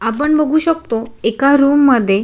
आपण बघू शकतो एका रूम मध्ये--